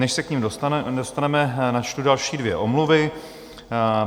Než se k nim dostaneme, načtu další dvě omluvy.